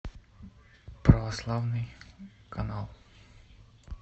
православный канал